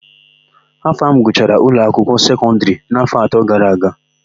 Afam gụchara ụlọakwụkwọ sekọndịrị n'áfọ̀ atọ gara aga.